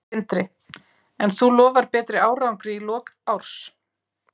Sindri: En þú lofar betri árangri í lok árs?